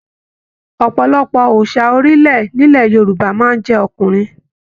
Ọpọlọpọ òòsà orilẹ nilẹ̀ Yorùbá máa n jẹ ọkùnrin